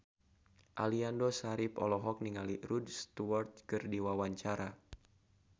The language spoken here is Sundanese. Aliando Syarif olohok ningali Rod Stewart keur diwawancara